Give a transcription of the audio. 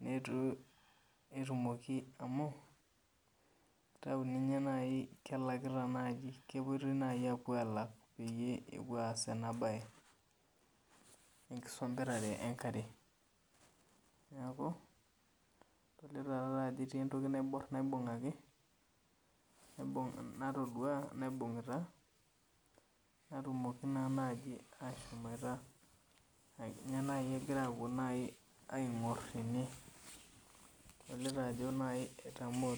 neletuetumoki amu kitau kelakita nai kepuoito nai apuo alak pepuoi aas enaabae enkisombirata enkarebneaku adolta ajo etiu entoki naibor naibungaki nashomoito nai ninye nai epuoito aingor tene adolita ajo etamoo.